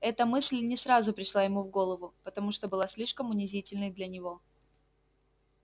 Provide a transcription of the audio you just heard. эта мысль не сразу пришла ему в голову потому что была слишком унизительной для него